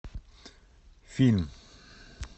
фильм